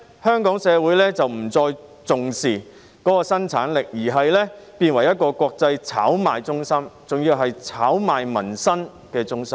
香港社會漸漸不再重視生產力，香港變成一個國際炒賣中心，還要是炒賣民生的中心。